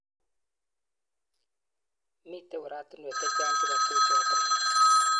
Mitei oratunwek chechang chebo tukjotok.